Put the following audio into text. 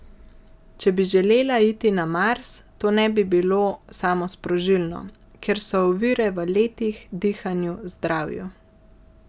Če bi želela iti na Mars, to ne bi bilo samosprožilno, ker so ovire v letih, dihanju, zdravju.